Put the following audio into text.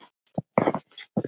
Björgu í þessum ham.